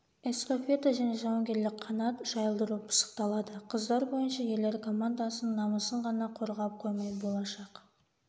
эстафета және жауынгерлік қанат жайылдыру пысықталады қыздар бойынша ерлер командасының намысын ғана қорғап қоймай болашақ